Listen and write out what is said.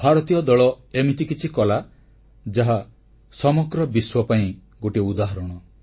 ଭାରତୀୟ ଦଳ ଏମିତି କିଛି କଲା ଯାହା ସମଗ୍ର ବିଶ୍ୱ ପାଇଁ ଗୋଟିଏ ଉଦାହରଣ